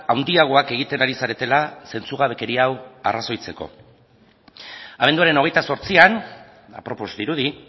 handiagoak egiten ari zaretela zentzugabekeria hau arrazoitzeko abenduaren hogeita zortzian apropos dirudi